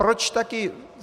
Proč taky...